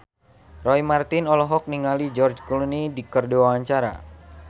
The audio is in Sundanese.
Roy Marten olohok ningali George Clooney keur diwawancara